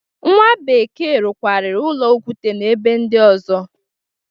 Nwa bekee rụkwararị ụlọ okute n'ebe ndị ọzọ.